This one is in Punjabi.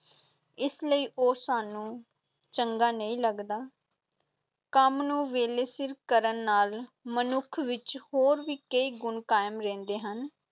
ਇਸ ਲਈ ਉਹ ਸਾਨੂੰ ਚੰਗਾ ਨਹੀਂ ਲਗਦਾ ਕੰਮ ਨੂੰ ਵੇਲੇ ਸਿਰ ਕਰਨ ਨਾਲ ਮਨੁੱਖ ਵਿੱਚ ਹੋਰ ਵੀ ਕਈ ਗੁਣ ਕਾਇਮ ਰਹਿੰਦੇ ਹਨ,